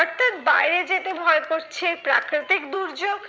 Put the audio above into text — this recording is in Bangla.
অর্থাৎ বাইরে যেতে ভয় করছে প্রাকৃতিক দুর্যোগ